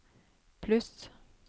pluss